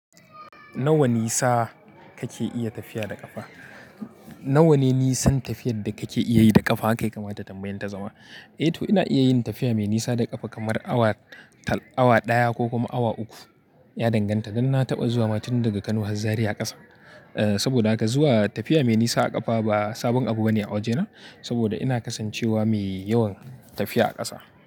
Nawa nisa kake iya tafiya da ƙafa? Nawa ne nisan tafiyar da kake iya yi da ƙafa haka ya kamata tambayen ta zama. Eh to ina iya yin tafiya mai nisa da ƙafa kamar awa tal, awa ɗaya ko kuma awa uku. Ya danganta, dan na taɓa zuwa matun daga Kano zuwa har Zariya ƙasa. Saboda haka zuwa tafiya mai nisa a ƙafa ba sabon abu bane a wajena saboda ina kasancewa mai yawan tafiya a ƙasa.